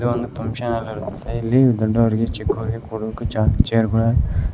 ಒಂದು function hall ಆಗಿರುತ್ತೆ ಇಲ್ಲಿ ದೊಡ್ಡವರಿಗೆ ಚಿಕ್ಕವರಿಗೆ ಕೊಡೋಕೆ ಜಾಗ ಚೇರ್ ಗಳ.